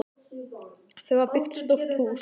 Þau hafa byggt stórt hús.